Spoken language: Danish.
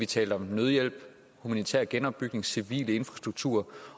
tale om nødhjælp humanitær genopbygning og civil infrastruktur